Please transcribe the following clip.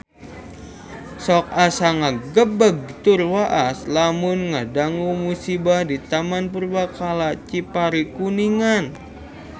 Sok asa ngagebeg tur waas lamun ngadangu musibah di Taman Purbakala Cipari Kuningan